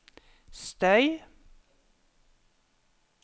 støy